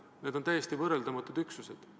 Need on täiesti võrreldamatud üksused.